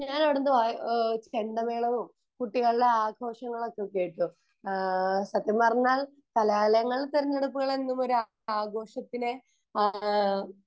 ഞാൻ അവിടുന്ന് ചെണ്ടമേളവും കുട്ടികളുടെ ആഘോഷങ്ങളൊക്കെ കേട്ടു സത്യം പറഞ്ഞാൽ കലാലയങ്ങൾ തന്നെയാണ് ഇപ്പോൾ ആഘോഷത്തിന്റെ ആ